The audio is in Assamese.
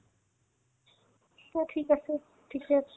চব ঠিক আছে পিছত